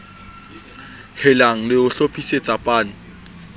helang le ho hlophisetsa pan